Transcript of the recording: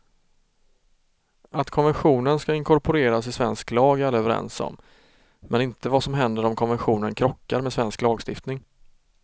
Att konventionen skall inkorporeras i svensk lag är alla överens om, men inte vad som händer om konventionen krockar med svensk lagstiftning.